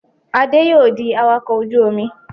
Adé yóò di awakọ̀ ojú-omi.